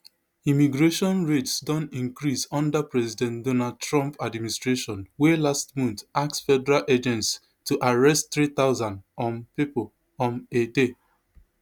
immigration raids don increase under president donald trump administration wey last month ask federal agents to arrest three thousand um pipo um a day